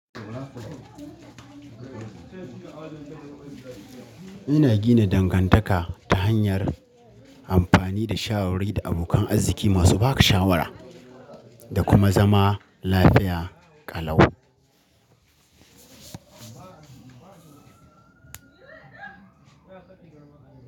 Ina gina dangantaka ta hanyar amfani da shawarwari da abokan arziki masu ba da shawara, da kuma zama lafiya ƙalau.